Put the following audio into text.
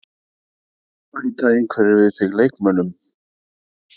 Bæta einhverjir við sig leikmönnum?